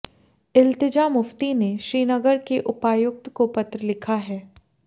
इल्तिजा मुफ्ती ने श्रीनगर के उपायुक्त को पत्र लिखा है